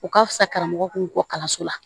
U ka fisa karamɔgɔ k'u bɔ kalanso la